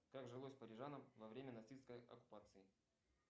как жилось парижанам во время нацистской оккупации